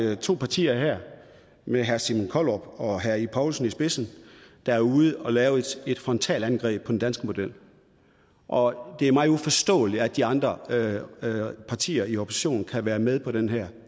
er to partier med herre simon kollerup og herre ib poulsen i spidsen der er ude at lave et frontalangreb på den danske model og det er mig uforståeligt at de andre partier i oppositionen kan være med på den her